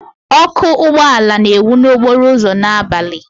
Ọkụ ụgbọ ala na-enwu n'okporo ụzọ n'abalị.